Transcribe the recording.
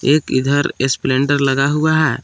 एक इधर स्प्लेंडर लगा हुआ है।